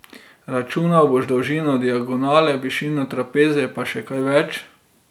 Računal boš dolžino diagonale, višino trapeza pa še kaj več.